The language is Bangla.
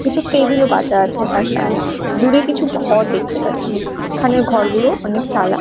কিছু টেবিল -ও পাতা আছে তার সামনে দূরে কিছু ঘর দেখতে পাচ্ছি এখানের ঘরগুলো অনেক টালা--